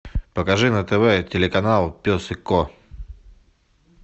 покажи на тв телеканал пес и ко